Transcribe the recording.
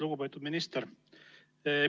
Lugupeetud minister!